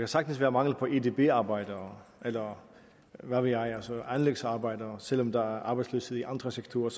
sagtens være mangel på edb arbejdere eller hvad ved jeg anlægsarbejdere selv om der er arbejdsløshed i andre sektorer